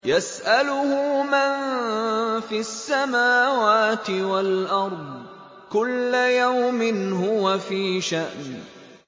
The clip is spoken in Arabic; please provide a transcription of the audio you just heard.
يَسْأَلُهُ مَن فِي السَّمَاوَاتِ وَالْأَرْضِ ۚ كُلَّ يَوْمٍ هُوَ فِي شَأْنٍ